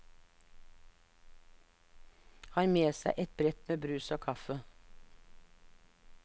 Har med seg et brett med brus og kaffe.